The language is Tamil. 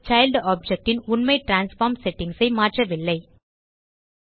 சைல்ட் ஆப்ஜெக்ட் ன் உண்மை டிரான்ஸ்ஃபார்ம் செட்டிங்ஸ் ஐ மாற்றவில்லை